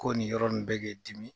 Ko nin yɔrɔ nin bɛ k'e dimin.